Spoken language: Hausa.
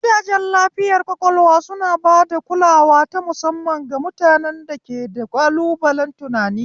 Gidajen lafiyar ƙwaƙwalwa suna ba da kulawa ta musamman ga mutanen da ke da ƙalubalen tunani.